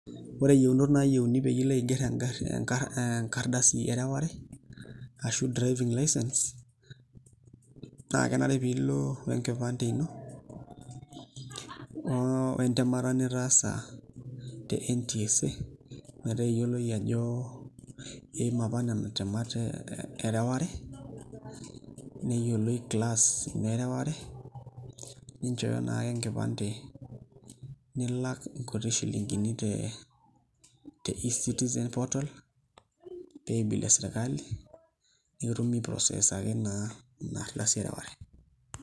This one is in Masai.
Ore yieunot nayieuni peyie ilo aiger enkardasi ereware, ashu driving licence, naa kenare pilo enkipande ino, wentemata nitaasa te NTSA. Metaa eyioloi ajo iima apa nena temat ereware, neyioloi class ino ereware, ninchooyo nake enkipande nilak nkuti shilinkini te e-citizen portal, pay bill esirkali, netumi process ake naa inardasi ereware.